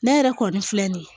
Ne yɛrɛ kɔni filɛ nin ye